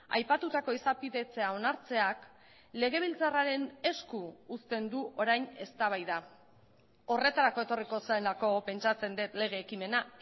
aipatutako izapidetzea onartzeak legebiltzarraren esku uzten du orain eztabaida horretarako etorriko zelako pentsatzen dut lege ekimena